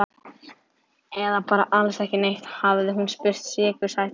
Eða bara alls ekki neitt? hafði hún spurt sykursætri röddu.